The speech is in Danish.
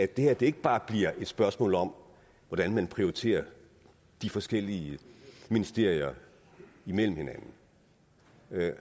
det her ikke bare bliver et spørgsmål om hvordan man prioriterer de forskellige ministerier imellem og